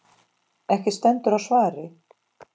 Ekki stendur á svari.